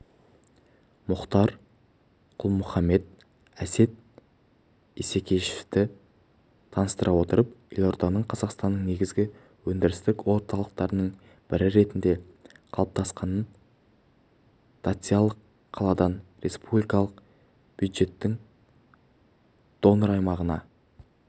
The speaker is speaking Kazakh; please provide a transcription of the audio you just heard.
мұхтар құл-мұхаммед әсет исекешевті таныстыра отырып елорданың қазақстанның негізгі өндірістік орталықтарының бірі ретінде қалыптасқанын дотациялық қаладан республикалық бюджеттің донор-аймағына